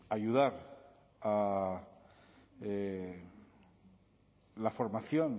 ayudar a la formación